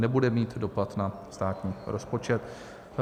Nebude mít dopad na státní rozpočet.